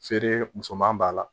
Feere musoman b'a la